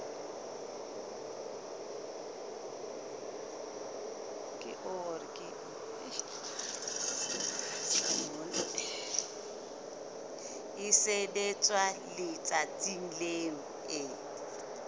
e sebetswa letsatsing leo e